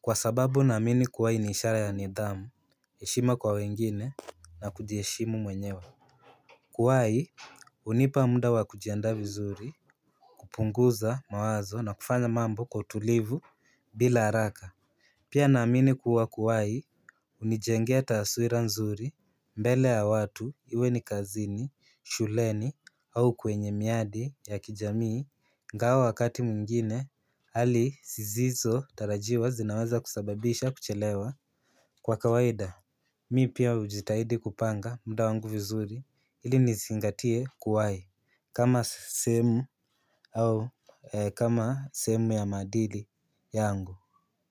Kwa sababu naamini kuwahi ni ishara ya nidhamu heshima kwa wengine na kujiheshimu mwenyewe. Kuwahi unipa muda wa kujiandaa vizuri kupunguza mawazo na kufanya mambo kwa utulivu bila haraka. Pia na amini kuwa kuwai unijengea taaswira nzuri mbele ya watu, iwe ni kazini, shuleni, au kwenye miadi ya kijamii ingawa wakati mwingine, hali sizizo tarajiwa zinaweza kusababisha kuchelewa. Kwa kawaida, mi pia ujitahidi kupanga muda wangu vizuri ili nizingatie kuwahi. Kama sehemu au kama sehemu ya maadili yangu.